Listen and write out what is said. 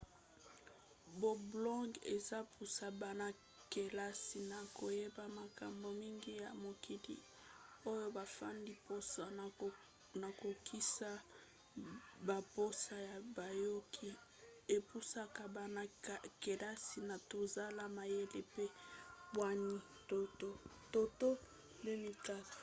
bablogs ezopusa bana-kelasi na koyeba makambo mingi ya mokili oyo bafandi. mposa ya kokokisa bamposa ya bayoki epusaka bana-kelasi na kozala mayele mpe bwania toto 2004